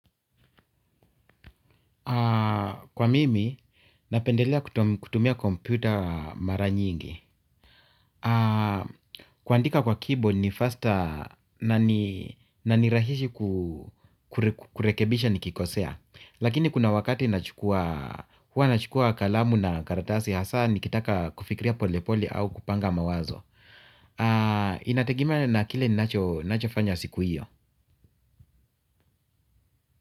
Kwa mimi, napendelea kutumia kompyuta mara nyingi. Kuandika kwa keyboard ni faster na nirahishi kurekebisha nikikosea. Lakini kuna wakati huwa nachukua kalamu na karatasi hasa nikitaka kufikria pole pole au kupanga mawazo. Inategemea na kile nacho fanya siku hiyo.